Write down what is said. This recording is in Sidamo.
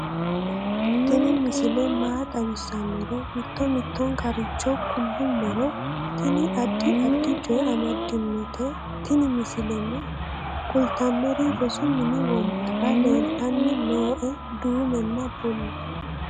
tini misile maa xawissannoro mito mittonkaricho kulummoro tini addi addicoy amaddinote tini misileno kultannori rosu mini wombarra leeltanni nooe duumenna bulla